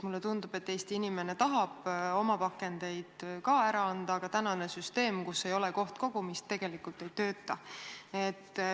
Mulle tundub, et Eesti inimene tahab oma pakendeid ära anda, aga tänane süsteem, kus ei ole kohtkogumist, tegelikult ei tööta.